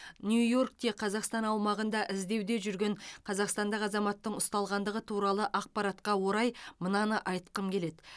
нью йоркте қазақстан аумағында іздеуде жүрген қазақстандық азаматтың ұсталғандығы туралы ақпаратқа орай мынаны айтқым келеді